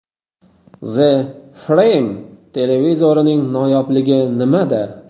The Frame televizorining noyobligi nimada?